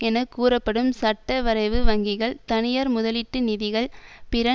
என கூறப்படும் சட்டவரைவு வங்கிகள் தனியார் முதலீட்டு நிதிகள் பிற